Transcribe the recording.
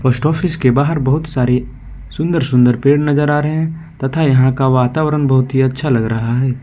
Post office के बाहर बहुत सारे सुंदर सुंदर पेड़ नजर आ रहे हैं तथा यहां का वातावरण बहुत ही अच्छा लग रहा है।